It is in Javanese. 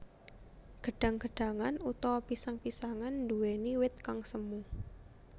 Gedhang gedhangan utawa pisang pisangan nduwèni wit kang semu